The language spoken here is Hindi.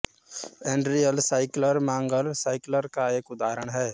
एल्ड्रिन साइक्लर मंगल साइक्लर का एक उदाहरण है